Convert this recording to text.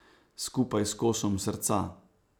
Skupaj s kosom srca.